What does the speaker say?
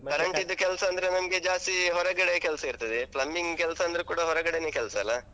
current ಇದ್ದು ಕೆಲ್ಸ. ಅಂದ್ರೆ ನನ್ಗೆ ಜಾಸ್ತಿ ಹೊರಗಡೆಯೇ ಕೆಲ್ಸ ಇರ್ತದೆ. plumbing ಕೆಲ್ಸ ಅಂದ್ರೆ ಕೂಡ ಹೊರಗಡೆನೆ ಕೆಲ್ಸ ಅಲ.